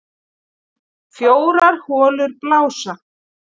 Fjórar holur blása